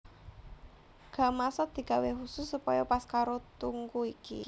Gamasot digawé khusus supaya pas karo tungku iki